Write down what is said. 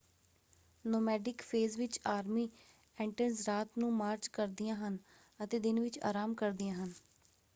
Nomadic phase ਵਿੱਚ army ants ਰਾਤ ਨੂੰ ਮਾਰਚ ਕਰਦੀਆਂ ਹਨ ਅਤੇ ਦਿਨ ਵਿੱਚ ਆਰਾਮ ਕਰਦੀਆਂ ਹਨ।